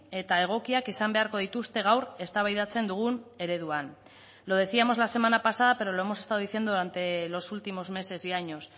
eta egokiak izan beharko dituzte gaur eztabaidatzen dugun ereduan lo decíamos la semana pasada pero lo hemos estado diciendo durante los últimos meses y años